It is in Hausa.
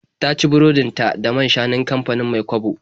Ta ci burodin ta da man-shanun kamfanin Mai-kwabo.